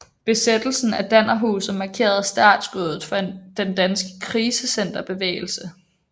Besættelsen af Dannerhuset markerede startskuddet for den danske krisecenterbevægelse